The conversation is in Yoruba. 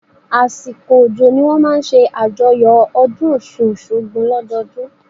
Àsìkò òjò ni wọ́n máa ń ṣe àjọyọ̀ ọdún Ọ̀ṣun-Òṣogbo lọ́dọọdún